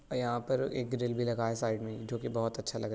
यहाँ पर एक गिरिल भी लगा है साइड मे जोकि बहुत अच्छा लग रहा है।